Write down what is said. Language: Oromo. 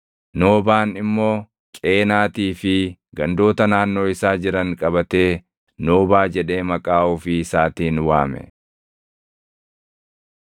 Noobaan immoo Qeenaatii fi gandoota naannoo isaa jiran qabatee Noobaa jedhee maqaa ofii isaatiin waame.